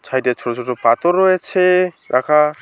Side -এ ছোট ছোট পাতর রয়েছে রাখা।